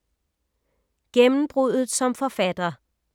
Gennembruddet som forfatter